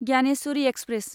Gyaneshwari express